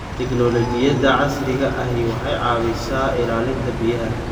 Tignoolajiyada casriga ahi waxay caawiyaan ilaalinta biyaha.